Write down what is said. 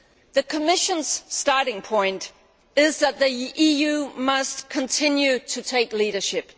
The Commission's starting point is that the EU must continue to show leadership.